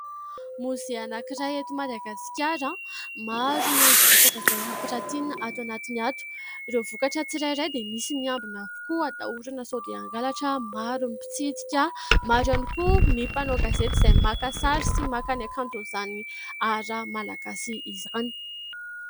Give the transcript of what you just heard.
"Musée" anankiray eto Madagasikara maro ny vokatra izay ampirantiana ato anatiny ato. Ireo vokatra tsirairay dia misy miambina avokoa hatahorana sao dia hangalatra. Maro ny mpitsidika maro ihany koa ny mpanao gazety izay maka sary sy maka ny hakanto izany "art" malagasy izany.